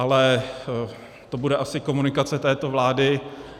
Ale to bude asi komunikace této vlády.